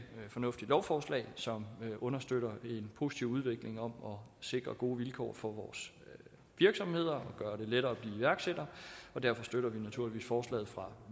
fornuftigt lovforslag som understøtter en positiv udvikling om at sikre gode vilkår for vores virksomheder og gøre det lettere at blive iværksætter og derfor støtter vi naturligvis forslaget fra